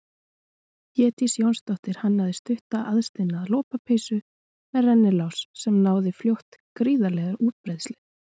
Védís Jónsdóttir hannaði stutta aðsniðna lopapeysu með rennilás sem náði fljótt gríðarlegri útbreiðslu.